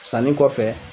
Sanni kɔfɛ